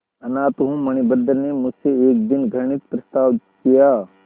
अनाथ हूँ मणिभद्र ने मुझसे एक दिन घृणित प्रस्ताव किया